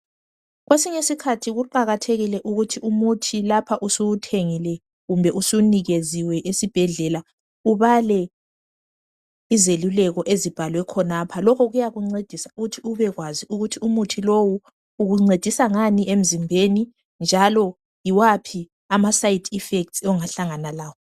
Kwesinye isikhathi kuqakathekile ukuthi umuthi lapha usuwuthengile, kumbe usuwunikeziwe esibhedlela. Ubale izeluleko ezibhalwe khonapha, Lokhu kuyakuncedisa ukuthi umuthi lowu ukuncedisa ngani emzimbeni, njalo yiwaphi amaside effects ongahlangana lawo.